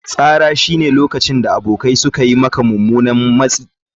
Tsananin tsara shine lokacin da abokai suka yi maka mummunan matsi.